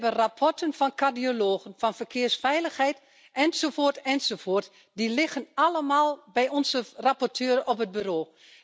We hebben rapporten van cardiologen, van verkeersveiligheid, enzovoort, enzovoort, die liggen allemaal bij onze rapporteur op het bureau.